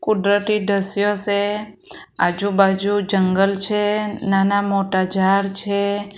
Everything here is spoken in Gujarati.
કુદરતી દ્રશ્યો સે આજુબાજુ જંગલ છે નાના મોટા ઝાડ છે.